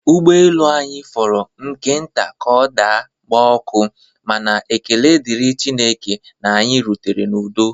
Ụgbọelu anyị fọrọ nke nta ka ọ daa gbaa ọkụ ma na ekele dịrị Chineke na anyị rutere n'udo